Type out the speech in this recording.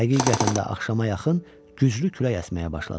Həqiqətən də axşama yaxın güclü külək əsməyə başladı.